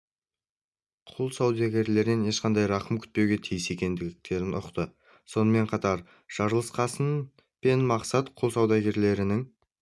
құл саудагерлерінен ешқандай рақым күтпеуге тиіс екендерін ұқты сонымен қатар жарылқасын пен мақсат құл саудагерлерінің